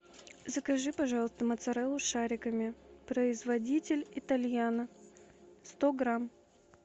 закажи пожалуйста моцареллу шариками производитель итальяно сто грамм